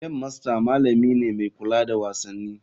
Game master malami ne mai kula da wasanni.